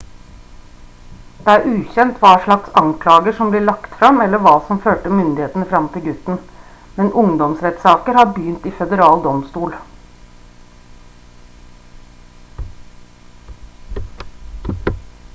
det er ukjent hva slags anklager som blir lagt frem eller hva som førte myndighetene frem til gutten men ungdomsrettssaker har begynt i føderal domstol